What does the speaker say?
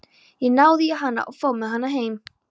Ég náði í hana og fór með hana heim